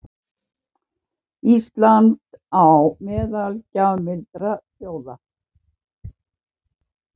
Ísland á meðal gjafmildra þjóða